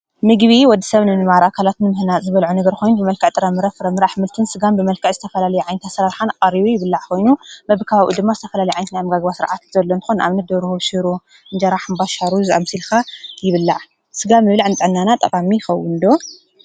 ምጊቢ ወዲ ሰብንንባራ ካላትን ምህና ዝበልዖ ነበርኾን ብመልከ ጥረ ምረፍ ረምርኣሕ ምልትን ሥጋን ብመልካ ዝተፈላልኣይንተሠረርኃን ኣርዩ ይብላዕ ኾይኑ በብካባኡ ድማ ዝተፈላልይኣይንትናም ጋግባ ሥርዓት ዘሎንኾን ኣብነት ደብርህሽሩ ጀራሕ ምባሻሩዝ ኣምሲልካ ይብለዕ ሥጋ ምብልዕ ኣምጠናና ጠፋሚ ኸውንዶ።